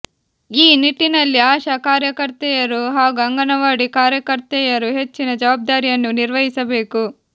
ಈ ನಿಟ್ಟಿನಲ್ಲಿ ಆಶಾ ಕಾರ್ಯಕರ್ತೆಯರು ಹಾಗೂ ಅಂಗನವಾಡಿ ಕಾರ್ಯಕರ್ತೆಯರು ಹೆಚ್ಚಿನ ಜವಾಬ್ದಾರಿಯನ್ನು ನಿರ್ವಹಿಸಬೇಕು